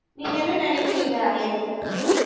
நீங்க என்ன நினைக்குறீங்க ஐயன் இதை பத்தி